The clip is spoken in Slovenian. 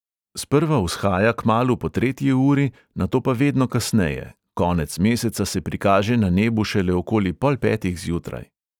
Sprva vzhaja kmalu po tretji uri, nato pa vedno kasneje; konec meseca se prikaže na nebu šele okoli pol petih zjutraj.